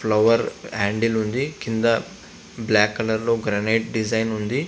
Flower handle ఉంది. కింద black colour లో గ్రనైట్ డిజైన్ ఉంది.